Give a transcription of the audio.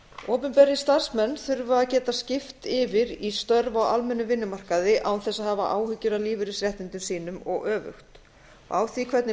opinberir starfsmenn þurfa að geta skipt yfir í störf á almennum vinnumarkaði án þess að hafa áhyggjur af lífeyrisréttindum sínum og öfugt á því hvernig